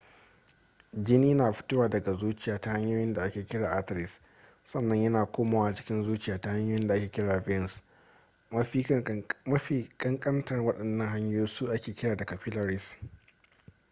jini na fitowa daga zuciya ta hanyoyin da ake kira arteries sannan ya na komawa cikin zuciya ta hanyoyin da ake kira veins mafikan kantar wadannan hanyoyi su ake kira da capillaries